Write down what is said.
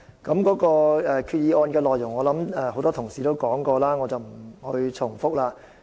有關決議案的內容，很多同事已經提及，我不再重複。